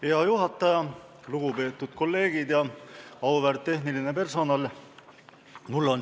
Hea juhataja, lugupeetud kolleegid ja auväärt tehniline personal!